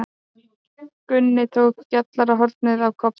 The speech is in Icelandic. Gunni tók gjallarhornið af Kobba.